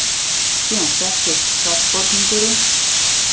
Síðan settist sakborningurinn.